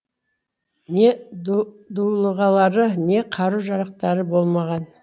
не дулығалары не қару жарақтары болмаған